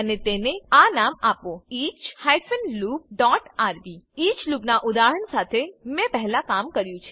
અને તેને આ નામ આપો each hyphen loop dot RB each લૂપના ઉદાહરણ સાથે મેં પહલા કમ કર્યું છે